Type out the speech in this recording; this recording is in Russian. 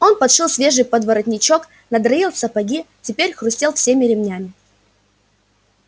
он подшил свежий подворотничок надраил сапоги и теперь хрустел всеми ремнями